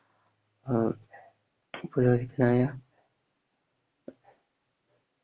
ആഹ് പുരോഹതിയാ